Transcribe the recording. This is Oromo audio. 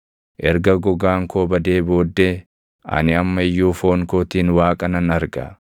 Erga gogaan koo badee booddee, ani amma iyyuu foon kootiin Waaqa nan arga;